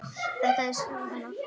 Þetta var skrýtið að heyra.